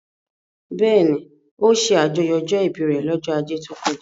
Bẹ́ẹ̀ni, ó ṣe àjọyọ̀ ọjọ́ ìbí rẹ̀ lọ́jọ́ ajé tó kọjá